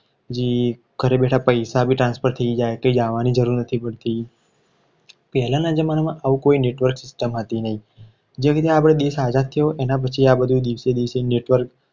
પછી ઘરે બેઠા પૈસા બી transfer થઈ જાય. કે કાંઈ જાવાની જરૂર નથી પડતી. પહેલાના જમાનામાં આવું કોઈ network વધીને એના પછી આ બધું દિવસે network